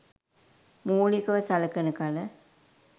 මූලිකව සලකන කල